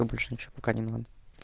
а больше ничего пока не надо